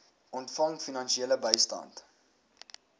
ontvang finansiële bystand